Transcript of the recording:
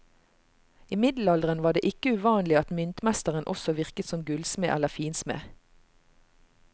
I middelalderen var det ikke uvanlig at myntmesteren også virket som gullsmed eller finsmed.